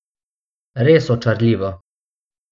Res očarljivo.